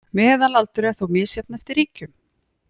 Meðalaldur er þó misjafn eftir ríkjum